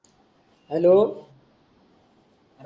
hello